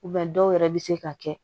dɔw yɛrɛ bɛ se ka kɛ